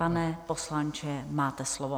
Pane poslanče, máte slovo.